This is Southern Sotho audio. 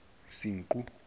senqu